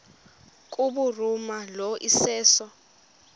kubhuruma lo iseso